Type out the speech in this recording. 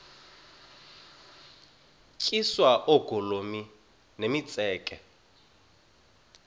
tyiswa oogolomi nemitseke